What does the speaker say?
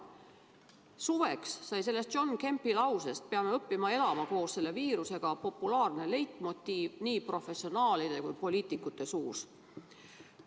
Suveks sai sellest John Kempi lausest, et me peame õppima elama koos selle viirusega, populaarne leitmotiiv nii professionaalide kui poliitikute suus.